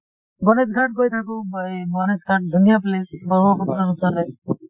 গণেশঘাট গৈ থাকো মই গণেশ ঘাট ধুনীয়া place , ব্ৰহ্মপুত্ৰ ৰ ওচৰে